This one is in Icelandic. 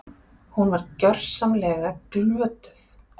Hún var gersamlega glötuð!